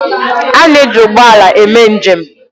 A na-eji ụgbọ ala eme njem.